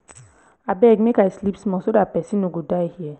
abeg make i sleep small so dat person no go die here